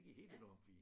Det gik helt enormt fint